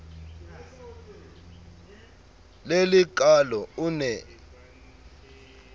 le le kaalo o ne